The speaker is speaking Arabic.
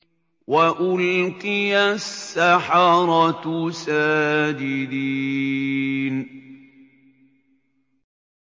وَأُلْقِيَ السَّحَرَةُ سَاجِدِينَ